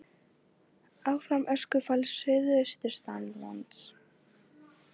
Áfram öskufall suðaustanlands